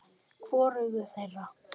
Hvorugu þeirra.